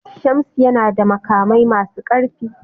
Shamsu yana da makamai masu karfi.